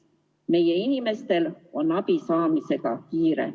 Meie inimestel on abi saamisega kiire.